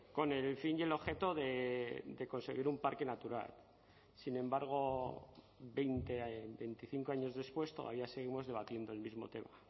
con el fin y el objeto de conseguir un parque natural sin embargo veinte veinticinco años después todavía seguimos debatiendo el mismo tema